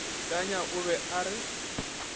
tanya o be a re